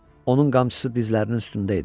Onun qamçısı dizlərinin üstündə idi.